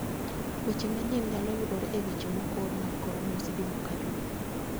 Weche manyien nyalo yudore e weche mokor mag kor lwasi juma ka juma